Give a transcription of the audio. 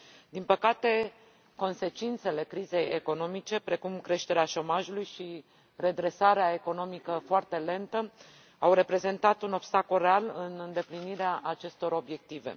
Din păcate, consecințele crizei economice, precum creșterea șomajului și redresarea economică foarte lentă, au reprezentat un obstacol real în îndeplinirea acestor obiective.